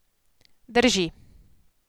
Drži.